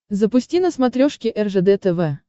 запусти на смотрешке ржд тв